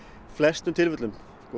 flestum tilfellum